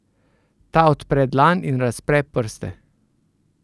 Ta odpre dlan in razpre prste.